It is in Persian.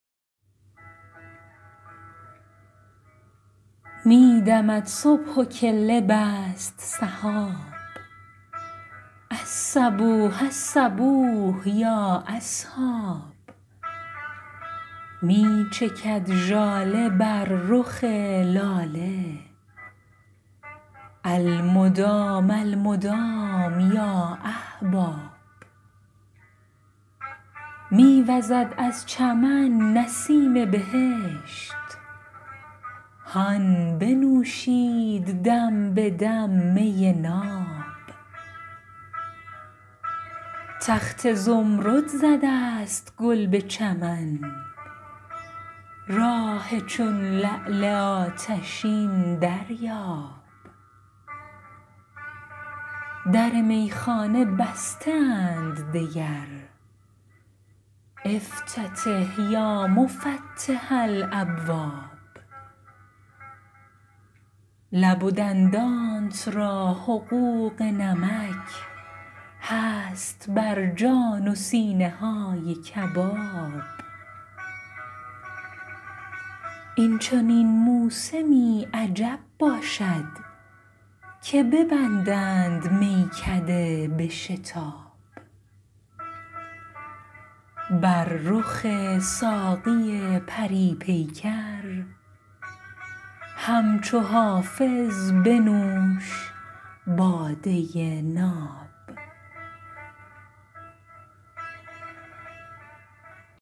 می دمد صبح و کله بست سحاب الصبوح الصبوح یا اصحاب می چکد ژاله بر رخ لاله المدام المدام یا احباب می وزد از چمن نسیم بهشت هان بنوشید دم به دم می ناب تخت زمرد زده است گل به چمن راح چون لعل آتشین دریاب در میخانه بسته اند دگر افتتح یا مفتح الابواب لب و دندانت را حقوق نمک هست بر جان و سینه های کباب این چنین موسمی عجب باشد که ببندند میکده به شتاب بر رخ ساقی پری پیکر همچو حافظ بنوش باده ناب